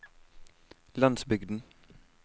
landsbygden